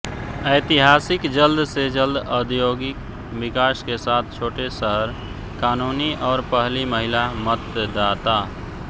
ऐतिहासिक जल्द से जल्द औद्योगिक विकास के साथ छोटे शहर कानूनी और पहली महिला मतदाता